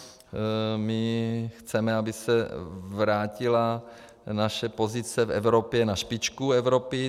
My chceme, aby se vrátila naše pozice v Evropě na špičku Evropy.